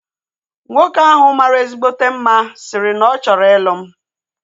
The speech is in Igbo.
Nwoke ahu mara ezigbote mma sịrị no na ọ chọrọ ịlụ m